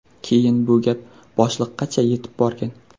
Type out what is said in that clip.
Keyin bu gap boshliqqacha yetib borgan.